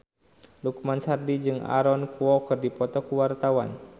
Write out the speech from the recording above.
Lukman Sardi jeung Aaron Kwok keur dipoto ku wartawan